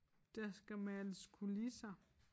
Der skal males kulisser